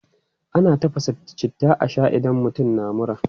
Ana tafasa citta a shaa idan mutum na mura.